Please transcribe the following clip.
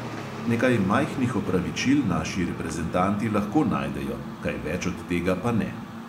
Nekaj majhnih opravičil naši reprezentanti lahko najdejo, kaj več od tega pa ne.